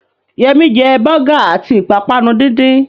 Yẹmí jẹ bọ́gà àti ìpápánu díndín